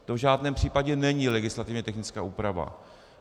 To v žádném případě není legislativně technická úprava.